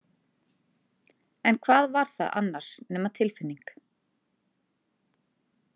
En hvað var það annars nema tilfinning?